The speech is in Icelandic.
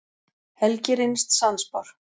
Helgi reynist sannspár.